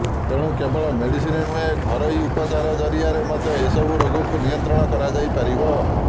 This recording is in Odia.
ତେଣୁ କେବଳ ମେଡିସିନ୍ ନୁହେଁ ଘରୋଇ ଉପଚାର ଜରିଆରେ ମଧ୍ୟ ଏସବୁ ରୋଗକୁ ନିୟନ୍ତ୍ରଣ କରାଯାଇପାରିବ